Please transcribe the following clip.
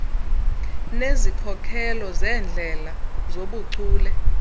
nezikhokelo zeendlela zobuchule